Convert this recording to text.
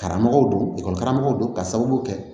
Karamɔgɔw don karamɔgɔw don ka sababu kɛ